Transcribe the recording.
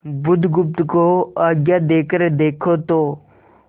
बुधगुप्त को आज्ञा देकर देखो तो